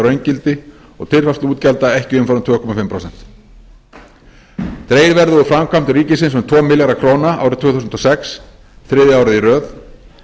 raungildi og tilfærsluútgjalda ekki umfram tvö og hálft prósent dregið verði úr framkvæmdum ríkisins um tvo milljarða króna árið tvö þúsund og sex þriðja árið í röð